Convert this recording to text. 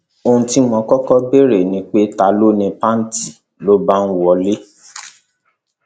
ohun tí mo kọkọ béèrè ni pé ta ló ni pàǹtí ló bá ń wọlé